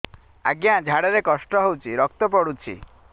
ଅଜ୍ଞା ଝାଡା ରେ କଷ୍ଟ ହଉଚି ରକ୍ତ ପଡୁଛି